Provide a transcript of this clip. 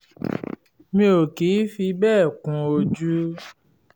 mi ò kì í fi bẹ́ẹ̀ kun ojú